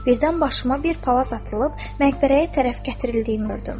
Birdən başıma bir palaz atılıb məqbərəyə tərəf gətirildiyimi gördüm.